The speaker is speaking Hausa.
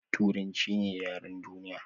Turanchi ne yaren duniya